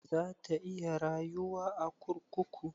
Za ta iya rayuwa a kurkuku?